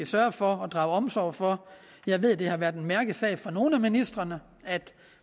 sørge for og drage omsorg for jeg ved det har været en mærkesag for nogle af ministrene at